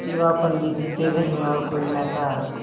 सिवा पंडित जी के घर में और कोई न था